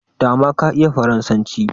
dama ka iya faransanci